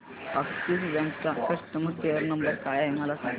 Axis bank चा customer care number काय आहे मला सांगा